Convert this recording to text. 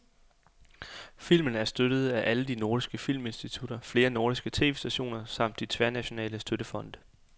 Filmen er støttet af alle de nordiske filminstitutter, flere nordiske tv-stationer samt de tværnationale støttefonde.